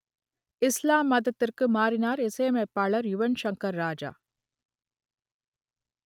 இஸ்லாம் மதத்திற்கு மாறினார் இசையமைப்பாளர் யுவன் ஷங்கர் ராஜா